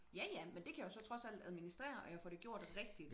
Ja ja men det kan jeg jo så trods alt administrere og jeg får det gjort rigtigt